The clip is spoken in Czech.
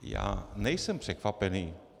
Já nejsem překvapený.